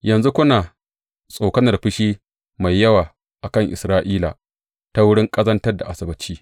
Yanzu kuna tsokanar fushi mai yawa a kan Isra’ila ta wurin ƙazantar da Asabbaci.